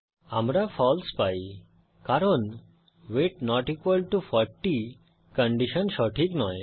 আমরা ফালসে পাই কারণ weight not equal to 40 condition সঠিক নয়